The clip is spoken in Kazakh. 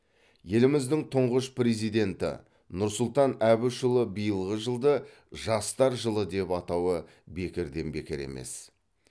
еліміздің тұңғыш президенті нұрсұлтан әбішұлы биылғы жылды жастар жылы деп атауы бекерден бекер емес